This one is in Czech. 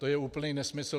To je úplný nesmysl.